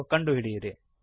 ಎಂದು ಕಂಡುಹಿಡಿಯಿರಿ